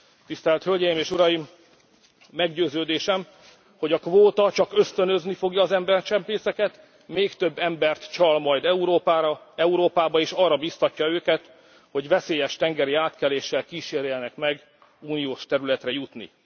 Tisztelt Hölgyeim és Uraim, meggyőződésem, hogy a kvóta csak ösztönözni fogja az embercsempészeket, még több embert csal majd Európába, és arra biztatja őket, hogy veszélyes tengeri átkeléssel kíséreljenek meg uniós területre jutni.